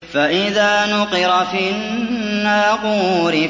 فَإِذَا نُقِرَ فِي النَّاقُورِ